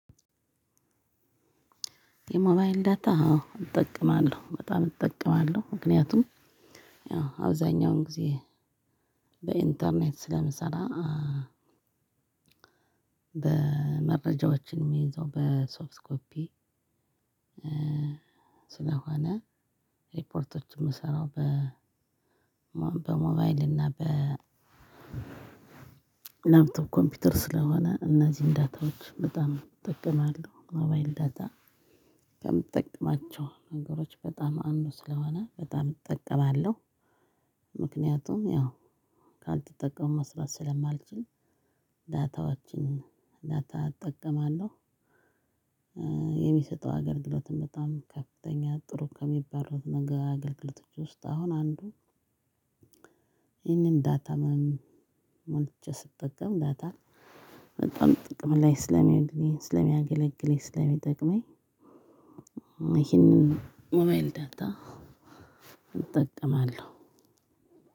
የሞባይል ዳታ አዎ እጠቀማለሁ በጣም እጠቀማለሁ ምክንያቱም አብዛኛውን ጊዜ በኢንተርኔት ስለምሰራ መረጃዎችን ምይዘው በሶፍት ኮፒ ስለሆነ ሪፖርቶች የምሰራው በ በሞባይል እና በ ላፕቶፕ ኮምፒውተር ስለሆነ እነዚህን ዳታዎች በጣም እጠቀማለሁ። ማባይል ዳታ በምትጠቅማቸው ነገሮች በጣም አንዱ ስለሆነ በጣም እጠቀማለሁ። ምክንያቱም ያው ካልተጠቀሙ መስራት ስለማልችል ዳታዎችን ዳታ እጠቀማለሁ። የሚሰጠው አገልግሎትም በጣም ከፍተኛ ጥሩ ከሚባሉት ነገር አገልግሎት ውስጥ አሁን አንዱ። ይህንን ዳታመም ሞልቼ ስጠቀም ዳታ በጣም ጥቅም ላይ ስለሚውልልኝ ስለሚያገለግልኝ ስለሚጠቅመኝ። ይህንን ሞባይል ዳታ እጠቀማለሁ።